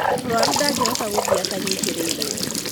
Mũrũaru ndangĩhota gũthiĩ atanyitarĩirwo.